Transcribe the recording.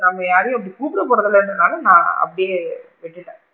நம்ம யாரையும் அப்படி கூப்பிட போரது இல்லன்றனால நான் அப்படியே விட்டுட்டேன்.